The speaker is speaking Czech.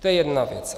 To je jedna věc.